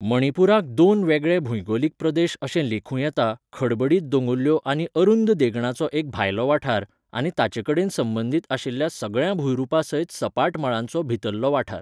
मणिपुराक दोन वेगळे भूंयगोलीक प्रदेश अशें लेखूं येता खडबडीत दोंगुल्ल्यो आनी अरुंद देगणांचो एक भायलो वाठार, आनी ताचेकडेन संबंदीत आशिल्ल्या सगळ्या भूंयरूपां सयत सपाट मळांचो भितरलो वाठार .